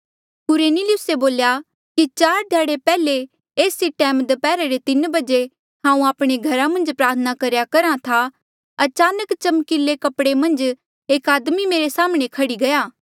कुरनेलियुसे बोल्या कि चार ध्याड़े पैहले एस ई टैम दप्हैरा रे तीन बजे हांऊँ आपणे घरा मन्झ प्रार्थना करेया करहा था अचानक चमकीले कपड़े मन्झ एक आदमी मेरे साम्हणें खह्ड़ी गया